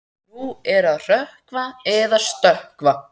Nú er að hrökkva eða stökkva.